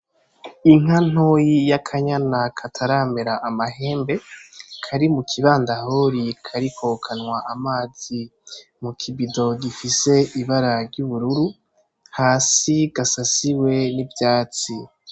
Inka ntoyi y'akanyana kataramera amahembe, kari muki bandahori, kariko kanwa amazi mu kibido gifise ibara ry'ubururu, hasi gasasiwe n'ivyatsi.